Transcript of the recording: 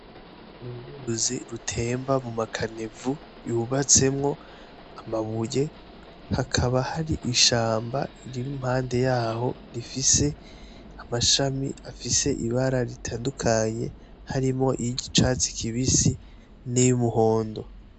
N'uruzi rutemba muma caniveaux yubatsemwo amabuye, hakaba hari ishamba riri impande yaho rifise amashami afise ibara ritandukanye harimwo iy'icatsi kibisi, niy'umuhondo.